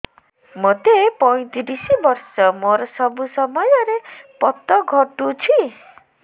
ମୋତେ ପଇଂତିରିଶ ବର୍ଷ ମୋର ସବୁ ସମୟରେ ପତ ଘଟୁଛି